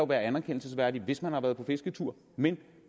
være anerkendelsesværdigt hvis man har været på fisketur men